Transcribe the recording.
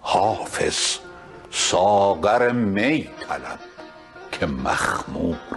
حافظ ساغر می طلب که مخموری